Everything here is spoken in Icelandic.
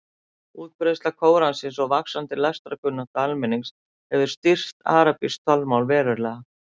Útbreiðsla Kóransins og vaxandi lestrarkunnátta almennings hefur styrkt arabískt talmál verulega.